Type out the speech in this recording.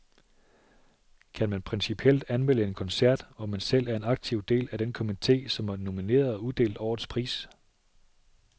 Kan man principielt anmelde en koncert, hvor man selv er en aktiv del af den komité, som har nomineret og uddelt årets pris?